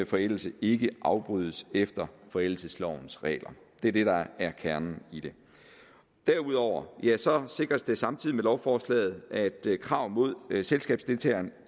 forældelse ikke afbrydes efter forældelseslovens regler det er det der er kernen i det derudover sikres det samtidig med lovforslaget at krav mod selskabsdeltageren